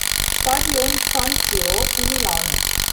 Štadion San Siro v Milanu.